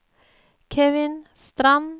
Kevin Strand